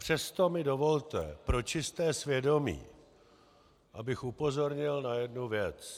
Přesto mi dovolte pro čisté svědomí, abych upozornil na jednu věc.